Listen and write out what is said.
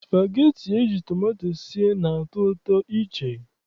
Spageti eji tomato sie na-atọ ụtọ iche.